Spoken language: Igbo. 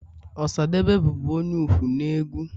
Osadebe bụbu onye ukwu na egwu.